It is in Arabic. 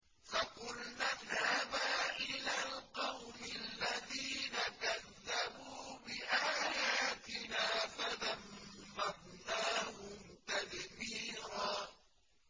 فَقُلْنَا اذْهَبَا إِلَى الْقَوْمِ الَّذِينَ كَذَّبُوا بِآيَاتِنَا فَدَمَّرْنَاهُمْ تَدْمِيرًا